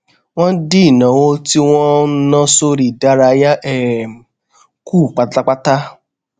wón dín ìnáwó tí wón ń ná sórí ìdárayá um kù pátápátá